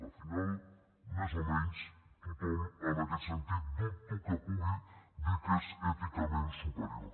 al final més o menys tothom en aquest sentit dubto que pugui dir que és èticament superior